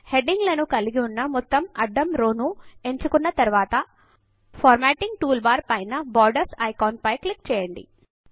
heading లను కలిగి ఉన్న మొత్తము అడ్డం రో ను ఎంచుకొన్న తరువాత ఫార్మాటింగ్ టూల్ బార్ పైన బోర్డర్స్ ఐకాన్ పైన క్లిక్ చేయండి